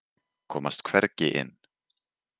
Komast hvergi inn.